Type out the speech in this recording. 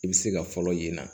I bɛ se ka fɔlɔ ye